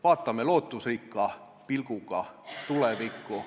Vaatame lootusrikka pilguga tulevikku.